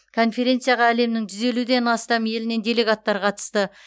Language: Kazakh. конференцияға әлемнің жүз елуден астам елінен делегаттар қатысты